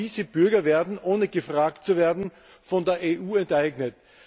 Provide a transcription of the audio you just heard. Denn genau diese Bürger werden ohne gefragt zu werden von der EU enteignet.